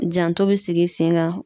Janto be sigi sen kan.